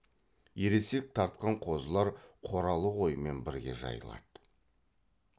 ересек тартқан қозылар қоралы қоймен бірге жайылады